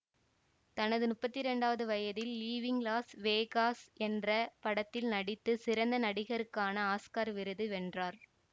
தனது முப்பத்தி இரண்டாவது வயதில் லீவிங் லாஸ் வேகாஸ் என்ற படத்தில் நடித்து சிறந்த நடிகருக்கான ஆஸ்கார் விருதை வென்றார்